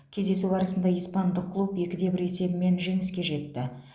кездесу барысында испандық клуб екі де бір есебімен жеңіске жетті